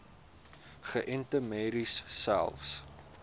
geënte merries selfs